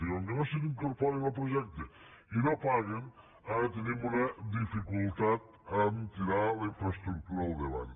i com que no s’incorporen al projecte i no paguen ara tenim una dificultat a tirar la infraestructura endavant